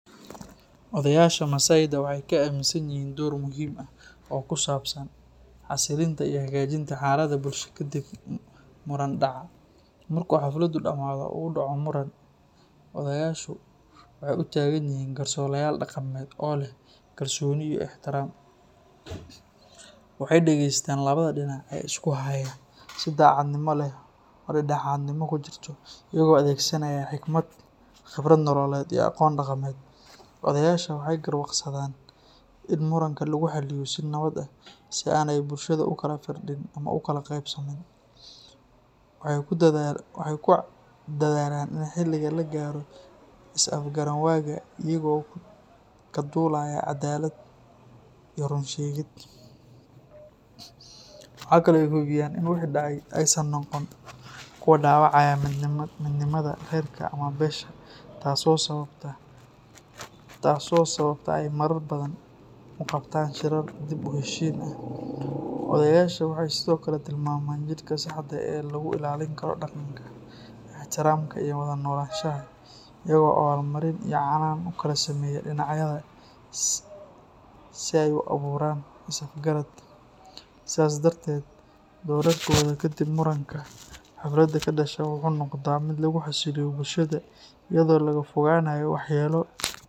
Odayaasha masayda waxay kaaminsan yihiin door muhiim ah oo ku saabsan xasillinta iyo hagaajinta xaaladaha bulshada kadib muran dhaca. Marka xafladdu dhammaato oo uu dhaco muran, odayaashu waxay u taagan yihiin garsoorayaal dhaqameed oo leh kalsooni iyo ixtiraam. Waxay dhegaystaan labada dhinac ee isku haya si daacadnimo leh oo dhexdhexaadnimo ku jirto, iyagoo adeegsanaya xikmad, khibrad nololeed, iyo aqoon dhaqameed. Odayaasha waxay garwaaqsadaan in muranka lagu xalliyo si nabad ah si aanay bulshadu u kala firdhin ama u kala qaybsamin. Waxay ku dadaalaan in xal laga gaaro is-afgaranwaaga iyagoo ka duulaya caddaalad iyo run sheegid. Waxa kale oo ay hubiyaan in wixii dhacay aysan noqon kuwo dhaawacaya midnimada reerka ama beesha, taas oo sababta ay marar badan u qabtaan shirar dib-u-heshiisiin ah. Odayaasha waxay sidoo kale tilmaamaan jidka saxda ah ee lagu ilaalin karo dhaqanka, ixtiraamka iyo wada noolaanshaha, iyagoo abaalmarin iyo canaan u kala sameeya dhinacyada si ay u abuuraan is-afgarad. Sidaas darteed, doorarkooda kadib muranka xaflada ka dhasha wuxuu noqdaa mid lagu xasiliyo bulshada iyadoo laga fogaanayo waxyeelo.